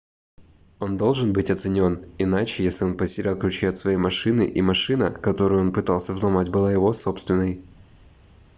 он должен быть оценен иначе если он потерял ключи от своей машины и машина которую он пытался взломать была его собственной